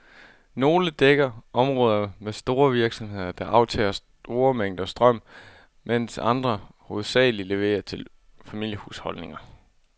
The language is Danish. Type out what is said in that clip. Nogle dækker områder med store virksomheder, der aftager store mængder strøm, mens andre hovedsageligt leverer til familiehusholdninger.